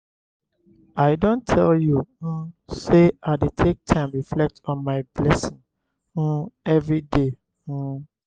i don tell you um sey i dey take time reflect on my blessing um everyday. um